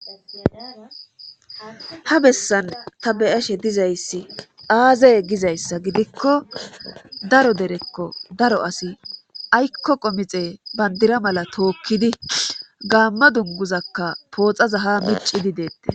ha bessan ta be'ashe dizayssi aazaye gizayssa gidikko daro derekko daro asi aykko qomixe bandira mala tookkidi gaamma dunguzakka pooxaza ha micidi deettes